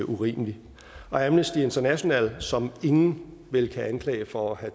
urimelig amnesty international som ingen vel kan anklage for at